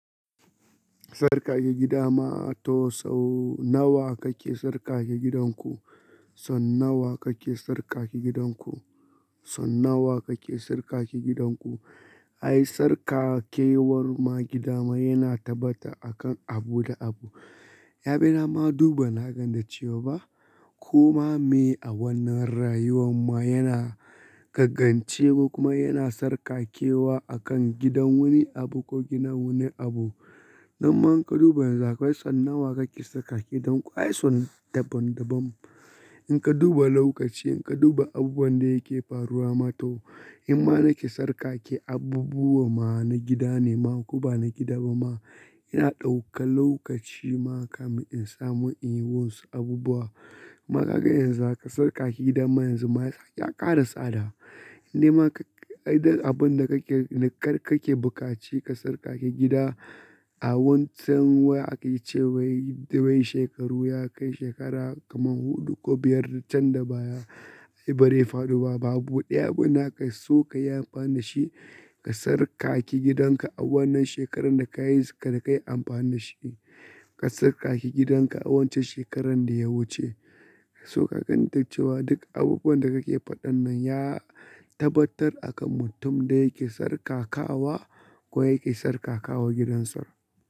Sarkake gida ma to sau nawa kake sarkake gidanku? So nawa kake sarkake gidanku? Son nawa kake sarkake gidanku? Ai sarkakewar ma gidama yana tabbata a kan abu da abu. Yabina ma duba na ganda cewa ba koma me a wannan rayuwar ma yana gaggancewa kuma yana sarkakewa akan gidan wani abu ko gidan wani abu. Nan ma in ka duba yanzu, kai son nawa kake sarkake gidanku? Ai son daban-daban. In ka duba lokaci, in ka duba abubuwan da yake faruwa ma to, in ma nake sarkake abubuwa ma na gida ne ma ko ba na gida ba ma, ina ɗauka lokaci ma kamar in samu in yi wasu abubuwa. Kuma ka ga yanzu haka sarkake gidan ma yanzu ma ya ƙara tsada. Indai ma ai duk abin da kake, ne kar kake buƙaci ka sarkake gida a wancan wa ake ce wai, wai shekaru ya kai shekara kaman huɗu ko biyar can da baya. Ai bari fara duba abu ɗaya abuna ka so ka yi amfani da shi, ka sarkake gidanka a wannan shekarar da ka yi, da ka yi amfani da shi. Ka sarkake gidanka a waccan shekarar da ya wuce. Ka so ka ga ita cewa duk abubuwan da kake faɗan nan ya tabbatar a kan mutum da yake sarkakawa ko yake sarkakawa gidansa.